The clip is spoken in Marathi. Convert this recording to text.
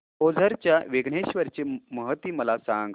ओझर च्या विघ्नेश्वर ची महती मला सांग